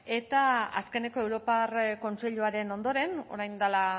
eta azkeneko europar kontseiluaren ondoren orain dela